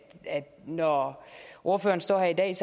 når ordføreren står her i dag er